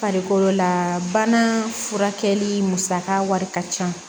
Farikolo la bana furakɛli musaka wari ka ca